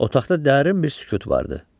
Otaqda dərin bir sükut vardı.